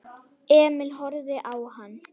Emil horfði á hann.